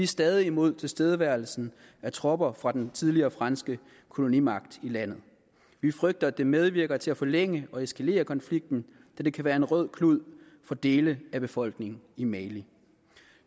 stadig imod tilstedeværelsen af tropper fra den tidligere franske kolonimagt i landet vi frygter at det medvirker til at forlænge og eskalere konflikten da det kan være en rød klud for dele af befolkningen i mali